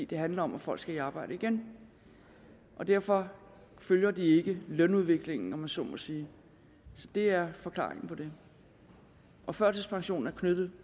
det handler om at folk skal i arbejde igen og derfor følger de ikke lønudviklingen om jeg så må sige så det er forklaringen på det og førtidspensionen er knyttet